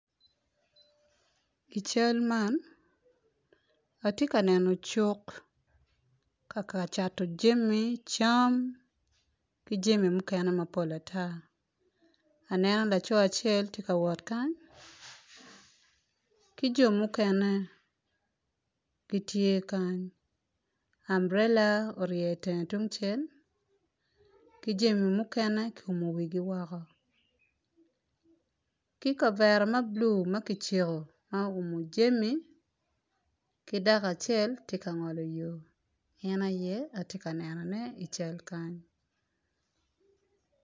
I cal man atye ka neno cuk ka ka cato jami, cam ki jami mukene mapol ata aneno laco acel tye kawot kany ki jo mukene gitye kany amburela orye itenge tungcel ki jami mukene ki umo wigi woko ki kavera ma bulu ma kiciko ma oumo jami ki dako acel tye ka ngolo yo en aye atye ka neno i cal man